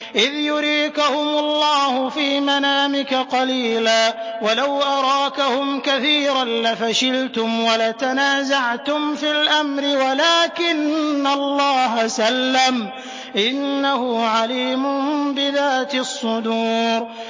إِذْ يُرِيكَهُمُ اللَّهُ فِي مَنَامِكَ قَلِيلًا ۖ وَلَوْ أَرَاكَهُمْ كَثِيرًا لَّفَشِلْتُمْ وَلَتَنَازَعْتُمْ فِي الْأَمْرِ وَلَٰكِنَّ اللَّهَ سَلَّمَ ۗ إِنَّهُ عَلِيمٌ بِذَاتِ الصُّدُورِ